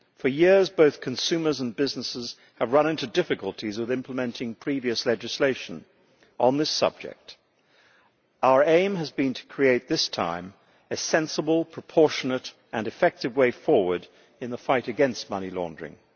For years, both consumers and businesses have run into difficulties with implementing previous legislation on this subject. Our aim has been to create, this time, a sensible, proportionate and effective way forward in the fight against money laundering.